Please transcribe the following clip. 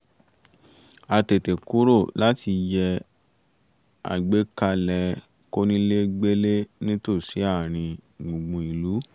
a tètè kúrò láti yẹ àgbékalẹ̀ kónílégbélé nítòsí àárín gbùngbùn ìlú